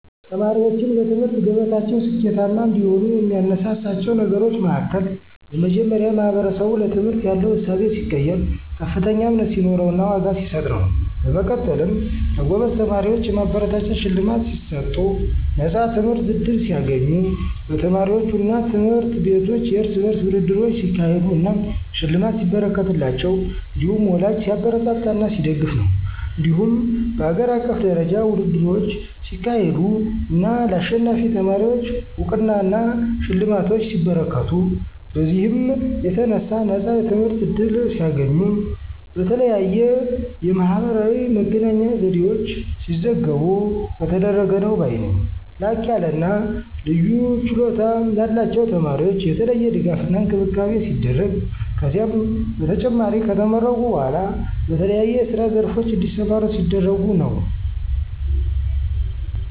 ተማሪዎችን በትምህርት ገበታቸው ስኬታማ እንዲሆኑ የሚያነሳሳቸው ነገሮች መሀከል በመጀመሪያ ማህበረሰቡ ለትምህርት ያለው እሳቤ ሲቀየር፥ ከፍተኛ እምነት ሲኖረውና ዋጋ ሲሰጥ ነው። በመቀጠልም ለጎበዝ ተማሪዎች የማበረታቻ ሽልማት ሲሰጡ፣ ነፃ የትምህርት ዕድል ሲያገኙ፣ በተማሪዎቹ አና ትምህርት ቤቶች የርስ በርስ ውድድሮች ሲያካሄዱ አና ሽልማት ሲበረከትላቸው እንዲሁም ወላጂ ሲያበረታታና ሲደግፍ ነው። እንዲሁም በሀገር አቀፍ ደረጃ ውድድሮች ሲካሄዱ አና ለአሸናፊ ተማሪወች አውቅናና ሽልማቶች ሲበረከቱ፤ በዚህም የተነሣ ነፃ የትምህርት ዕድል ሲያገኙ፣ በተለያየ የማህበራዊ መገናኛ ዘዴወች ሲዘገቡ ከተደረገ ነው ባይ ነኝ። ላቅያለና ልዩ ችሎታ ላላቸው ተማሪወች የተለየ ድጋፍና እንክብካቤ ሲደረግ፤ ከዚህም በተጨማሪ ከተመረቁ በኋላ በተለያዬ የስራ ዘርፎች እንዲሰማሩ ሲደረጉ ነው።